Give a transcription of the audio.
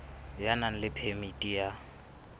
ya nang le phemiti ya